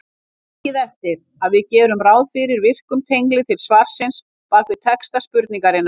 Takið eftir að við gerum ráð fyrir virkum tengli til svarsins bak við texta spurningarinnar.